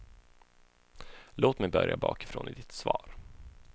Låt mig börja bakifrån i ditt svar.